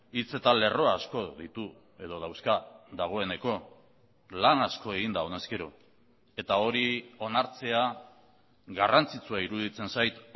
hitz eta lerro asko ditu edo dauzka dagoeneko lan asko egin da honezkero eta hori onartzea garrantzitsua iruditzen zait